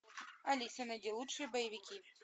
алиса найди лучшие боевики